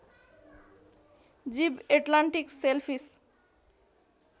जीव Atlantic shellfish